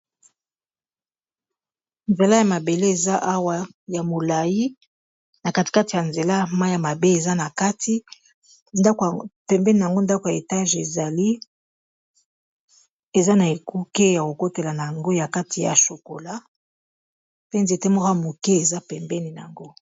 Nzela ya mabele eza awa ya molai. Na katikati ya nzela mai ya mabe eza na kati. Pembeni na ngo, ndako ya etage ezali. Eza na ekuke ya kokotela na ngo na kati ya sukola. Pe nzete moko ya moke eza pembeni yango.